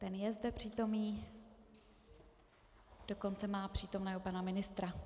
Ten je zde přítomen, dokonce má přítomného pana ministra.